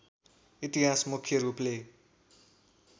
इतिहास मुख्य रूपले